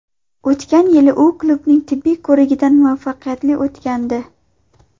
O‘tgan yili u klubning tibbiy ko‘rigidan muvaffaqiyatli o‘tgandi.